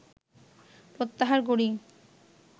প্রত্যাহার করি